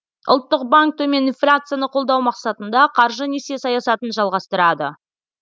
ұлттық банк төмен инфляцияны қолдау мақсатында қаржы несие саясатын жалғастырады